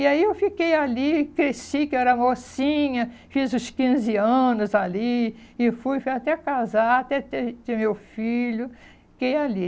E aí eu fiquei ali, cresci, que era mocinha, fiz os quinze anos ali e fui até casar, até ter ter meu filho, fiquei ali.